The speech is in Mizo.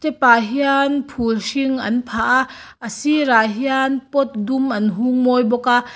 tah hian phul hring an phah a a sirah hian pot dum an hung mawi bawk a.